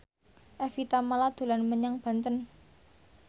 Evie Tamala dolan menyang Banten